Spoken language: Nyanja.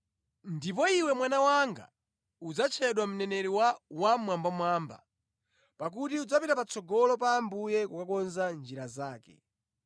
“Ndipo iwe mwana wanga udzatchedwa mneneri wa Wammwambamwamba; pakuti udzapita patsogolo pa Ambuye kukonza njira yake,